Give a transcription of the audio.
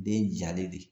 Den jalen de don